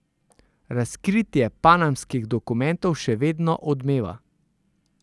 Razkritje panamskih dokumentov še vedno odmeva.